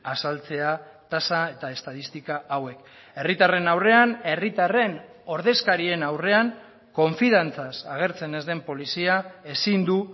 azaltzea tasa eta estatistika hauek herritarren aurrean herritarren ordezkarien aurrean konfiantzaz agertzen ez den polizia ezin du